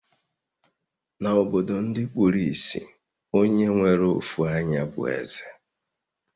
Na obodo ndi kpuru isì, Onye nwere ofu anyá bu eze